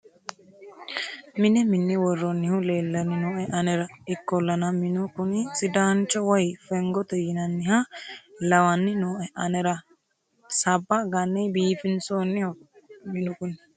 mine minne worroonnihu leellanni nooe anera ikkollana minu kuni sidaancho woy fengote yinanniha lawanni nooe anera sabba ganne biifinsoonniho minu kuni